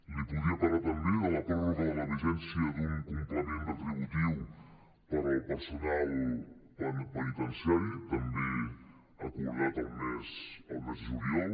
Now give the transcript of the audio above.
li podria parlar també de la pròrroga de la vigència d’un complement retributiu per al personal penitenciari també acordat el mes de juliol